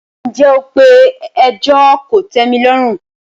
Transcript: ǹjẹ́ o pe “ẹjọ́ kòtẹ́milọ́rùn ”.?